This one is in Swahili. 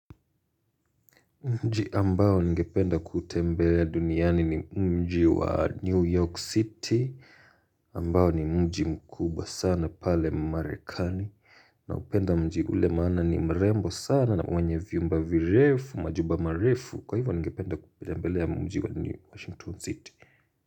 Mji ambao ningependa kuutembelea duniani ni mji wa New York City ambao ni mji mkubwa sana pale marekani na upenda mji ule maana ni mrembo sana na wenye viumba virefu majumba marifu kwa hivyo ningependa kutembelea mji wa New Washington City.